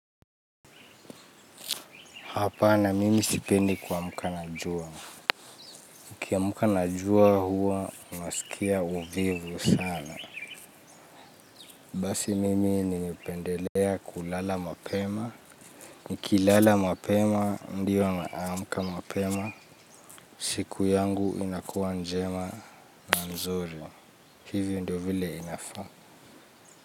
Hapana mimi sipendi kwa mka najua. Ukia mka najua huwa, unaskia uvivu sana. Basi mimi nilipendelea kulala mapema. Niki lala mapema, ndio naamka mapema. Siku yangu inakua njema na nzuri. Hivyo ndio vile inafaa.